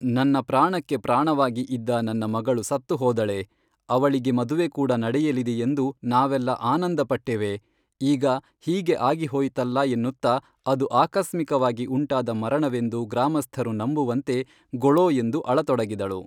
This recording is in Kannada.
ನನ್ನ ಪ್ರಾಣಕ್ಕೆ ಪ್ರಾಣವಾಗಿ ಇದ್ದ ನನ್ನ ಮಗಳು ಸತ್ತು ಹೋದಳೇ ಅವಳಿಗೆ ಮದುವೆ ಕೂಡಾ ನಡೆಯಲಿದೆಯೆಂದು ನಾವೆಲ್ಲಾ ಆನಂದ ಪಟ್ಟೆವೇ ಈಗ ಹೀಗೆ ಆಗಿ ಹೋಯಿತಲ್ಲಾ ಎನ್ನುತ್ತಾ ಅದು ಆಕಸ್ಮಿಕವಾಗಿ ಉಂಟಾದ ಮರಣವೆಂದು ಗ್ರಾಮಸ್ಥರು ನಂಬುವಂತೆ ಗೊಳೋ ಎಂದು ಅಳತೊಡಗಿದಳು